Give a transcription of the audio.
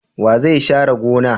Wa zai share gona?